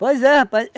Pois é, rapaz.